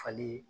Fali